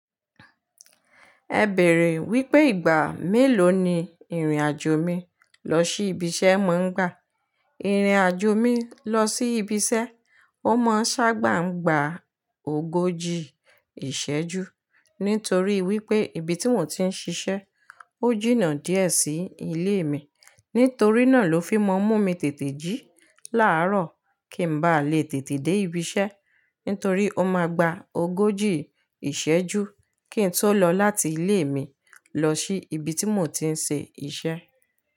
Ẹ bèèrè, wípé ìgbà mélòó ni ìrìnàjò mi lọ sí ibi iṣẹ́ má ń gbà? Ìrìnàjò mi lọ sí ibi iṣẹ́, ó má ń sábà ń gba ogójì ìṣẹ́jú, nítorí wípé ibi tí mò ń ti ń ṣiṣẹ́, ó jìnnà díẹ̀ sí ilé mi. Nítorí náà ló fi má ń mú mi tètè jí láàárọ̀ kí ń ba lè tètè dé ibi iṣẹ́, nítorí ó máa gba ogójì ìṣẹ́jú kí n tó lọ láti ilé mi lọ sí ibi tí mò ń ti ń ṣe iṣẹ́.